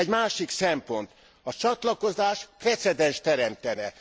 Egy másik szempont a csatlakozás precedenst teremtene.